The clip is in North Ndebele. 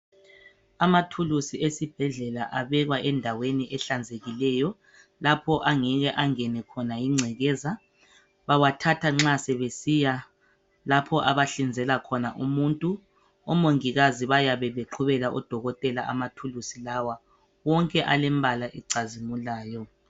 Amathuluzi esibhedlela abekwa endaweni ehlanzekileyo lapho angeke angene khona yingcekeza. Bawathatha nxa sebesiya lapho abahlinzela khona umuntu. Omongikazi bayabe beqhubela udokotela amathuluzi lawa. Wonke alembala ecazimulayo.